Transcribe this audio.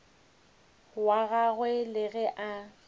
wa gagwe le ge a